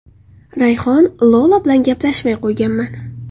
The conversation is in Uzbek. Rayhon: Lola bilan gaplashmay qo‘yganman.